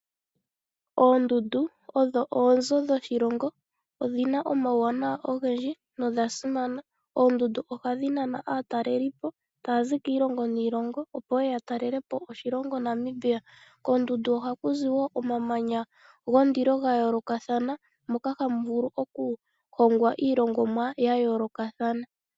Oondundu odho oonzo dhoshilongo, odhina omawuwanawa ogendji nodha simana. Oondundu ohadhi nana aatalelipo taya zi kiilongo niilongo opo yeye ya talele po oshilongo Namibia. Koondundu ohaku zi wo omamanya gondilo ga yoolokathana. Moka hamu vulu okuhongwa iilongomwa ya yoolokathana.